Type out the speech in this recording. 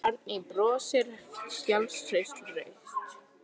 Árný brosir full sjálfstrausts.